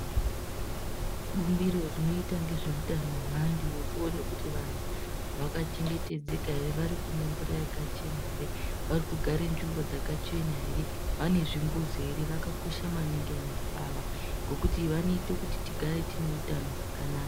Bumbiro rinoita ngezveutano hwevantu nekuona kuvantu vakachengetedzeka ere, varikumwa mvura yakachena here, varikugara nzimbo dzakachena here, vanezvimbuzi here, vakakosha maningi vantu ava ngokuti vanoite kuti tigare tine utano hwakanaka.